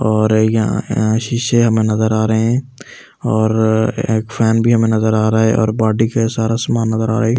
और यहां हा शिशे हमें नजर आ रहे हैं और एक फैन भी हमें नजर आ रहा है और बॉडी का सारा सामान नजर आ रहा है।